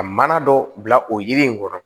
Ka mana dɔ bila o yiri in kɔrɔ